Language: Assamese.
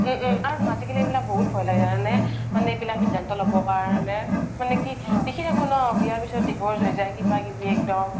উম আৰু আজিকালি এইবিলাক বহুত ভয় লাগে জানা নে মানে এইবিলাক শিধান্তো ল্'ব কাৰনে মানে কি দেখি থাকো ন বিয়া পিছ্ত divorce হয় যাই কিবা কিবি এক্দম